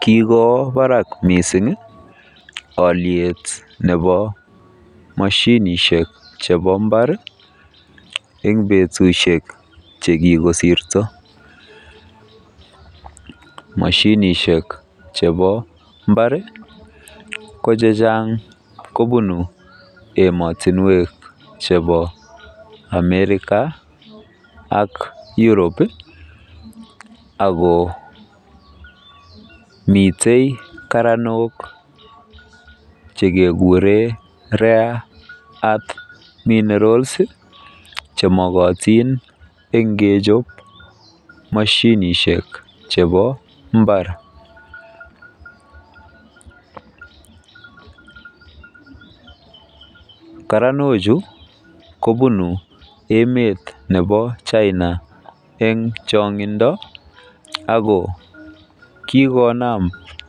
Kikowo barak mising oliet nebo moshinishek chebo mbar eng butusiek chekikosirto. Moshinishek chebo mbar ko chechang kobunu emotinwek chebo Amerika ak Europe ako mitei karanok chekekure Rare Earth Minerals chemokotin eng kechop moshinishek chebo mbar. Karanochu kobunu emet nebo China eng chong'indo ako kikonam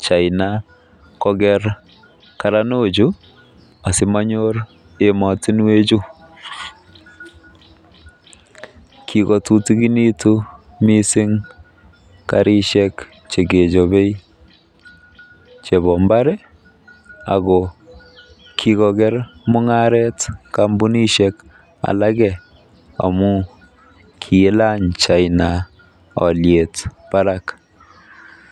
China koker karanochu asimanyor emotinwechu. Kikotutikinitu mising karishek chekechobe chebo mbar. Kikoker mung'aret kampunishek alake amu kiilany China olyet barak.